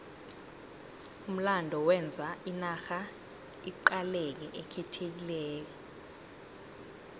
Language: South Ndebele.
umlando wenza inarha iqaleke ikhethekile